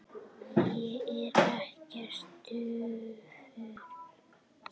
Ég er ekkert daufur.